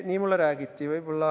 Nii mulle räägiti.